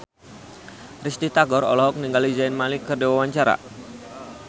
Risty Tagor olohok ningali Zayn Malik keur diwawancara